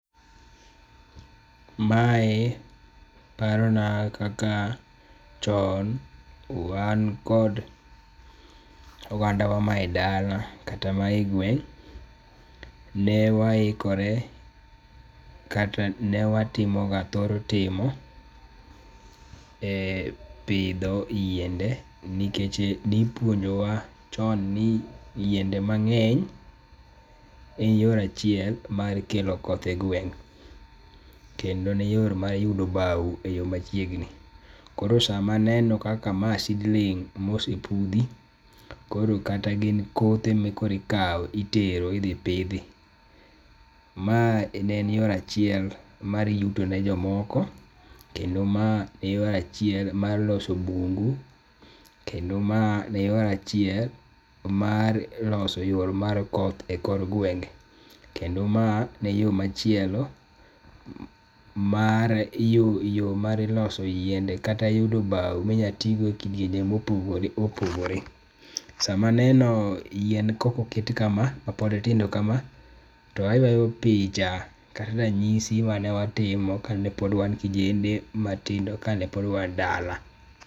Mae parona kaka chon wan kod ogandawa ma edala kata ma egweng' ne waikore kata ne watimo thor timo e pidho yien de nikech ne ipuonjowa chon ni yiende mang#eny en yo achiel mar kelo koth e gweng#' kendo ne en yo mar yudo bao eyo machiegni. Koro sama aneno kaka ma seedling mosepudhi, kata gin kothe ma koro ikawo itero idhi pidhi. Mae ne en yo achiel mar yuto ne jomoko ,kendo ma en yo achiel yuto ne jomoko, kendo ma en yo achiel mar loso bungu. Kendo ma en yo achiel mar loso yor mar koth e kor gwenge. Kendo ma ne yoo machielo mar yo mar loso yiende kata yudo bao ma inyalo ti go e kidienje mopogore opogore. Sama aneno yien kaka oket kama, mapod tindo kama to ayuayo picha kata ranyisi mane watimo kane pod wan kijende matindo kane pod wan dala.